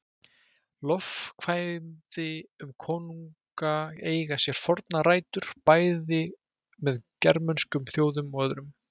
Lofkvæði um konunga eiga sér fornar rætur, bæði með germönskum þjóðum og öðrum.